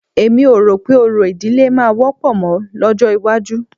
Èmi ò rò pé orò ìdílé máa wọ́pọ̀ mọ́ lọ́jọ́ iwájú